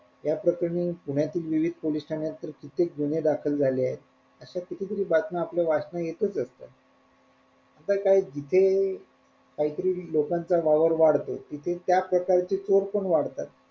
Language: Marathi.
या प्रकरणी पुण्यातील विविध पोलीस ठाण्यात कित्तेक गुन्हे दाखल झाले आहेत अश्या किती तरी बातम्या आपल्या वाचण्यात असतात आता काय जिथे काय तरी लोकांचा वावर वाढतो तिथे त्या प्रकारचे चोर पण वाढतात.